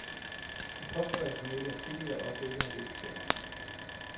De påstår, at hun ikke er flittig og ofte ikke har læst sagerne.